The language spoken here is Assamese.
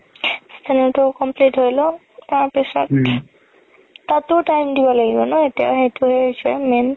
final তো complete হৈ ল'ক তাৰ পিছত তাতো time দিব লাগিব ন এতিয়া সেইটো হে হৈছে main